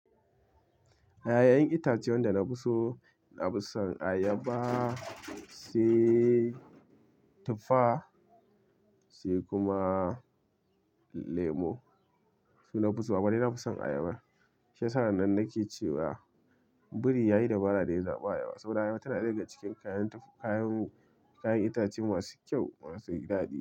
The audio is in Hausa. Yayayen itace wanda na fi so, na fi son ayaba sai tufa sai kuma lemo. Su nafi so, amma dai nafi son ayaba. Shiyasa'an nan nake cewa biri yayi dabara da ya zaɓa ayaba saboda ayaba tana ɗaya daga cikin kayan kayan kayan itace masu kyau masu daɗi.